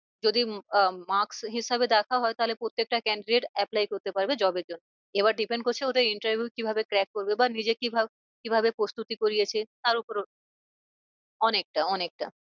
যদি আহ mark হিসাবে দেখা হয় তাহলে প্রত্যেকটা candidate apply করতে পারবে job এর জন্য এবার depen করছে ওদের interview কিভাবে track করবে বা নিজে কি কি ভাবে প্রস্তুতি করিয়েছে তার ওপর অনেকটা অনেকটা